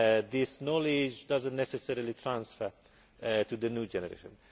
SMEs. This knowledge does not necessarily transfer to the new generation.